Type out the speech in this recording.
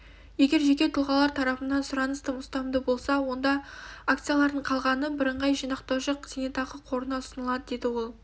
егер жеке тұлғалар тарапынан сұраныс тым ұстамды болса онда акциялардың қалғаны бірыңғай жинақтаушы зейнетақы қорына ұсынылады деді ол